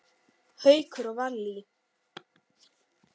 Haukur og Vallý.